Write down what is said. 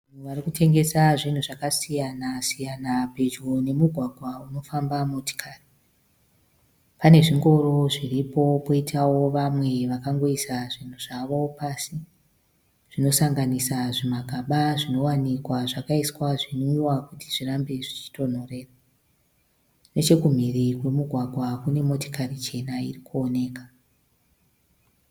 Vanhu vari kutengesa zvinhu zvakasiyanasiyana pedyo nomugwagwa unofamba motokari. Pane zvingoro zviripo poitawo vamwe vakangoisa zvinhu zvavo pasi zvinosanganisa zvimagaba zvinowanikwa zvakaiswa zvinwiwa kuti zvirambe zvichitonhorera. Nechemhiri kwomugwagwa kune motokari chena iri kuoneka.